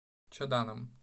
чаданом